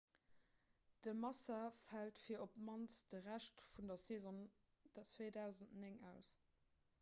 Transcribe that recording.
de massa fält fir op d'mannst de rescht vun der saison 2009 aus